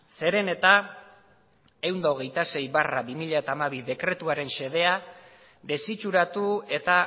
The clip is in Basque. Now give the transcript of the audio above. zeren eta ehun eta hogeita sei barra bi mila hamabi dekretuaren xedea desitxuratu eta